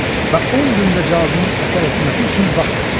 Və 10 gündə cadunun əsər etməsi üçün vaxt var.